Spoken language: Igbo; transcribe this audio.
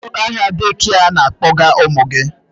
Kedu aha dekịa ị na-akpọga ụmụ gị?